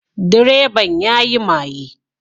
Direban ya yi maye